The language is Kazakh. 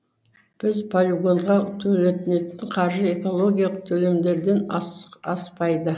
біз полигонға төлетнетін қаржы экологиялық төлемдерден аспайды